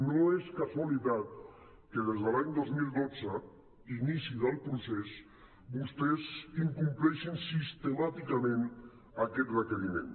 no és casualitat que des de l’any dos mil dotze inici del procés vostès incompleixin sistemàticament aquest requeriment